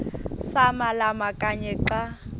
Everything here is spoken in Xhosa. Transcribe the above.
samalama kanye xa